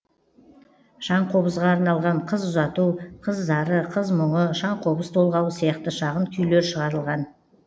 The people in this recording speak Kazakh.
шаңқобызға арналған қыз ұзату қыз зары қыз мұңы шаңқобыз толғауы сияқты шағын күйлер шығарылған